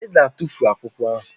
Ị ga-atufu akwụkwọ ahụ!